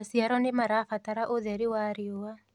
maciaro nĩmarabatara ũtheri wa riũa